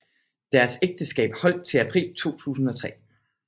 Deres ægteskab holdt til april 2003